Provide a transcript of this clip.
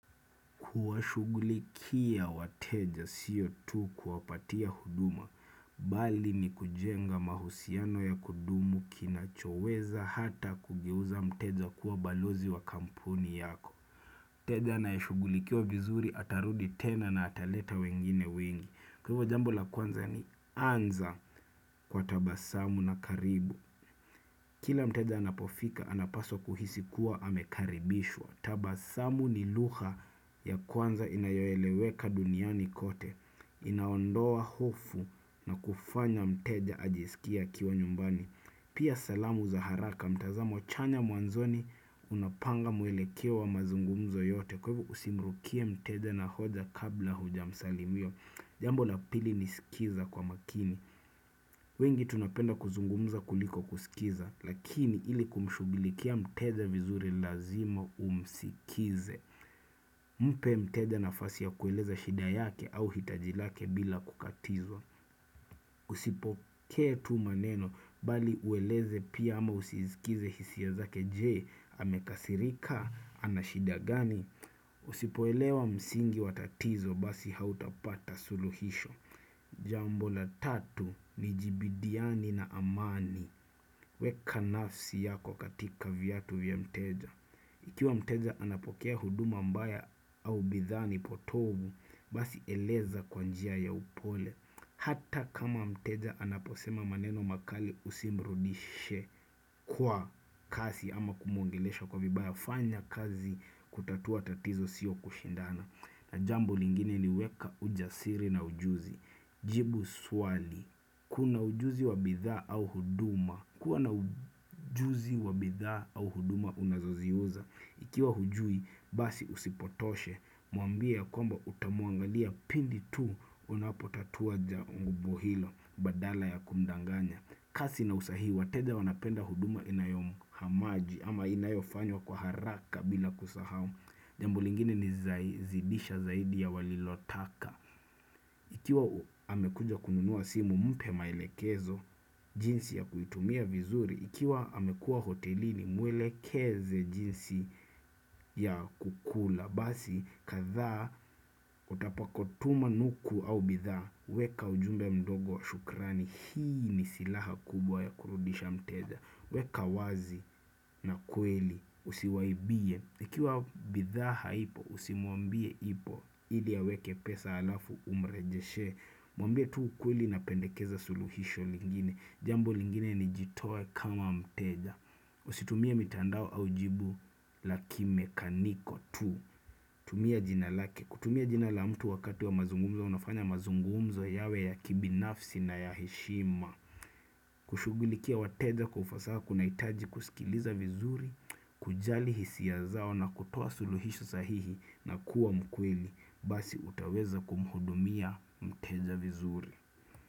Kuwa shughulikia wateja siyo tu kuwapatia huduma bali nikujenga mahusiano ya kudumu, kina choweza hata kugeuza mteja kuwa balozi wa kampuni yako mteja anaehugulikia vizuri atarudi tena na ataleta wengine wengi kwahiyo jambo la kwanza ni anza kwa tabasamu na karibu kila mteja anapofika anapaswa kuhisi kuwa amekaribishwa tabasamu ni lugha ya kwanza inayoeleweka duniani kote Inaondoa hofu na kufanya mteja ajisikie akiwa nyumbani Pia salamu za haraka mtazamo chanya mwanzoni unapanga muelekeo wa mazungumzo yote kwebu usimrukie mteja na hoja kabla huja msalimia Jambo lapili nisikiza kwa makini wengi tunapenda kuzungumza kuliko kusikiza Lakini ili kumshghulikia mteja vizuri lazima umsikize Mpe mteja nafasi ya kueleza shida yake au hitajilake bila kukatizwa Usipoke tu maneno bali ueleze pia ama usizikize hisia zake jee amekasirika anashida gani Usipoelewa msingi watatizo basi hautapata suluhisho Jambo la tatu ni jibidiani na amani weka nafsi yako katika viatu vya mteja Ikiwa mteja anapokea huduma mbaya au bidhaa ni potovu Basi eleza kwanjia ya upole Hata kama mteja anaposema maneno makali usimrudishe kwa kasi ama kumuongelesha kwa vibaya fanya kazi kutatua tatizo siyo kushindana na jambo lingine ni weka ujasiri na ujuzi Jibu swali Kuna ujuzi wa bidha au huduma kuwa na ujuzi wa bidhaa au huduma unazoziuza. Ikiwa hujui basi usipotoshe muambie ya kwamba utamuangalia pindi tu unapotatua jambo hilo badala ya kumdanganya. Kasi na usahihi wateja wanapenda huduma inayomu hamaji ama inayofanyo kwa haraka bila kusahau. Jambo lingine ni zaidi zidisha ya walilotaka. Ikiwa amekuja kununuwa simu mpe maelekezo jinsi ya kuitumia vizuri, ikiwa amekuwa hotelini mwelekeze jinsi ya kukula, basi kadhaa utapakotuma nuku au bidha, weka ujumba mdogo wa shukrani, hii ni silaha kubwa ya kurudisha mteja. Wekawazi na kweli usiwaibie ikiwa bidhaa haipo usimuambie ipo ili ya weke pesa alafu umrejeshe Mwambie tu kweli na pendekeza suluhisho lingine Jambo lingine ni jitoe kama mteja Usitumie mitandao aujibu la kimekaniko tu tumia jina lake kutumia jina la mtu wakati wa mazungumzo Unafanya mazungumzo yawe ya kibi nafsi na ya heshima kushughulikia wateja kwa ufasaha kuna hitaji kusikiliza vizuri, kujali hisia zao na kutoa suluhisho sahihi na kuwa mkwheli, basi utaweza kumhudumia mteja vizuri.